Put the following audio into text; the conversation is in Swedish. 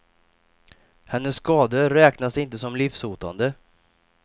Hennes skador räknas inte som livshotande.